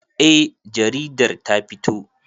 Eh jaridar ta fito.